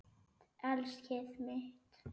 Elskið mitt!